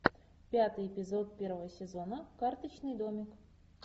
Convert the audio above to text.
пятый эпизод первого сезона карточный домик